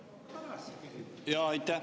Aitäh!